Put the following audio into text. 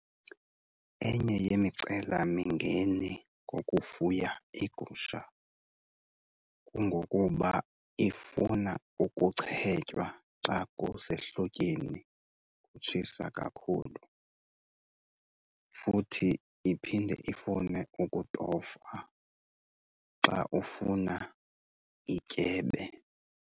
Enye yemicelamingeni ngokufuya iigusha kungokuba ifuna ukuchetywa xa kusehlotyeni kutshisa kakhulu. Futhi iphinde ifune ukutofwa xa ufuna ityebe.